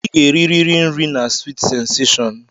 Ị ga-eriri nri na Sweet sensashọn!